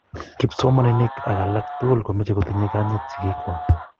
kipsomaninik ak laak tokol komeche kotinye konyit sikiik kwach